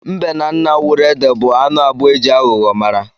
Mbe na nnawuruede bụ anụ abụọ eji aghụghọ mara.